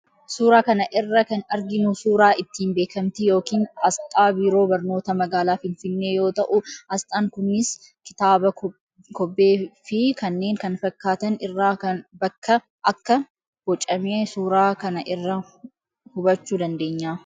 Suuraa kana irra kan arginu suuraa ittiin beekamtii yookiin asxaa Biiroo Barnoota Magaalaa Finfinnee yoo ta'u, asxaan kunis kitaaba, kobbee fi kanneen kana fakkaatan irraa akka bocame suuraa kana irraa hubachuu dandeenya.